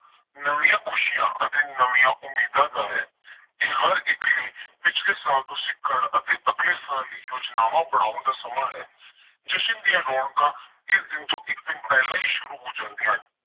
ਨਵੀਆਂ ਖੁਸ਼ੀਆਂ ਅਤੇ ਨਵੀਆਂ ਉਮੀਦਾਂ ਦਾ ਹੈ। ਇਹ ਹਰ ਇੱਕ ਲਈ ਪਿਛਲੇ ਸਾਲ ਤੋਂ ਸਿੱਖਣ ਅਤੇ ਅਗਲੇ ਸਾਲ ਲਈ ਯੋਜਨਾਵਾਂ ਬਣਾਉਣ ਦਾ ਸਮਾਂ ਹੈ। ਜਸ਼ਨ ਦੀਆਂ ਰੌਣਕਾਂ ਇਸ ਦਿਨ ਤੋਂ ਇੱਕ ਦਿਨ ਪਹਿਲਾਂ ਹੀ ਸ਼ੁਰੂ ਹੋ ਜਾਂਦੀਆਂ ਹਨ।